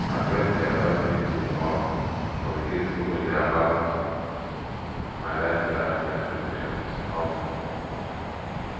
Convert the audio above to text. my friend dey advise me to um communicate openly about my lifestyle and expectations um